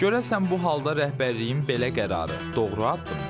Görəsən bu halda rəhbərliyin belə qərarı doğru addımdırmı?